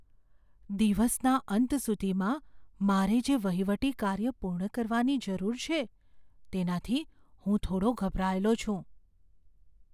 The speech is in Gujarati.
દિવસના અંત સુધીમાં મારે જે વહીવટી કાર્ય પૂર્ણ કરવાની જરૂર છે તેનાથી હું થોડો ગભરાયેલો છું.